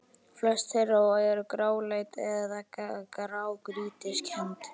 Flest þeirra eru gráleit eða grágrýtiskennd.